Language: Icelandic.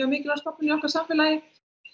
mikilvæg stofnun í okkar samfélagi